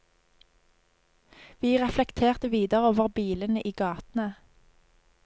Vi reflekterte videre over bilene i gatene.